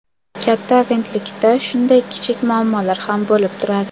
Katta agentlikda shunday kichik muammolar ham bo‘lib turadi.